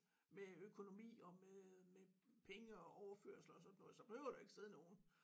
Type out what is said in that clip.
Med økonomi og med med penge og overførsler og sådan noget så behøver der ikke sidde nogen